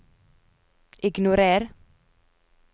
ignorer